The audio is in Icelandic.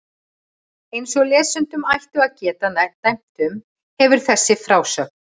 Eins og lesendur ættu að geta dæmt um, hefur þessi frásögn